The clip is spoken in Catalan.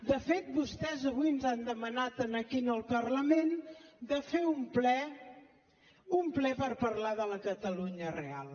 de fet vostès avui ens han demanat aquí en el parlament de fer un ple per parlar de la catalunya real